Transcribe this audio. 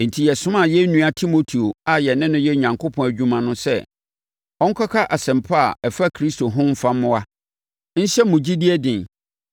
Enti, yɛsomaa yɛn nua Timoteo a yɛne no yɛ Onyankopɔn adwuma no sɛ ɔnkɔka Asɛmpa a ɛfa Kristo ho mfa mmoa, nhyɛ mo gyidie den,